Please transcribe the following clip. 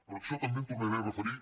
per això també em tornaré a referir